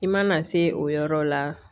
I mana se o yɔrɔ la